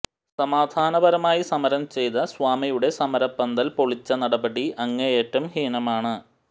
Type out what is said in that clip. സമാധാനപരമായി സമരം ചെയ്ത സ്വാമിയുടെ സമരപന്തൽ പൊളിച്ച നടപടി അങ്ങേയറ്റം ഹീനമാണ്